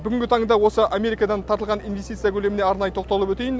бүгінгі таңда осы америкадан тартылған инвестиция көлеміне арнайы тоқталып өтейін